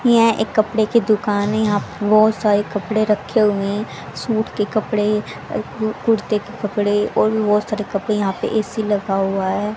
यहां एक कपड़े की दुकान है यहां पे बहोत सारे कपड़े रखे हुएं सूट के कपड़े कु कुर्ते के कपड़े और भी बहोत सारे कपड़े यहां पे ए_सी लगा हुआ है।